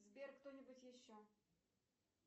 сбер кто нибудь еще